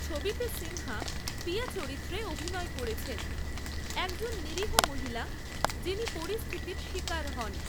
ছবিতে, সিনহা পিয়া চরিত্রে অভিনয় করেছেন, একজন নিরীহ মহিলা যিনি পরিস্থিতির শিকার হন।